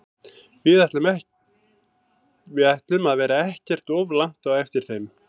Við ætlum að vera ekkert of langt á eftir þeim.